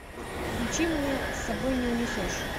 включи мне с собой не унесешь